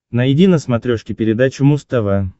найди на смотрешке передачу муз тв